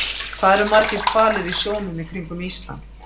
Hvað eru margir hvalir í sjónum í kringum Ísland?